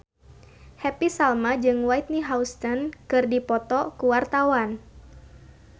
Happy Salma jeung Whitney Houston keur dipoto ku wartawan